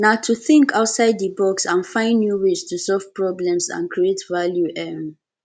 na to think outside di box and find new ways to solve problems and create value um